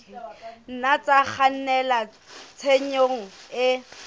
nna tsa kgannela tshenyong e